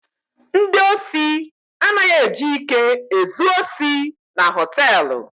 Ndị osi anaghi eji ike ezu osi na họtelụ.